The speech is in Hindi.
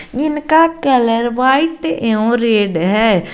जिनका कलर व्हाइट एवं रेड है।